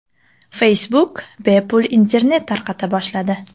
Facebook bepul internet tarqata boshladi.